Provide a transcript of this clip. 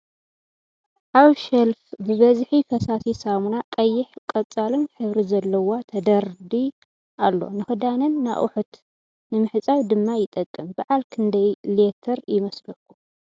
ኣብ ሸልፍ ብበዝሒ ፈሳሲ ሰሙና ቀይሕን ቀፃል ሕብሪ ዘለዋ ተደርዲ ኣሎ ። ንክዳንን ንኣቁሕት ንምሕፃብ ድማ ይጠቅም ። ብዓል ክንደይ ሌትር ይመስለኩም ?